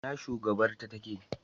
Ina shugabar ta take?